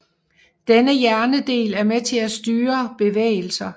Denne hjernedel er med til at styre bevægelser